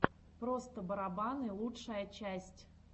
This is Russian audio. просто барабаны лучшая часть